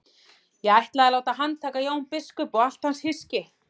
Ég ætlaði að láta handtaka Jón biskup og allt hans hyski.